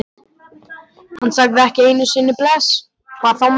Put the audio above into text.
Hann sagði ekki einu sinni bless, hvað þá meir.